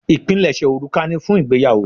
Ipinleṣe òrùka ni fún ìgbéyàwó.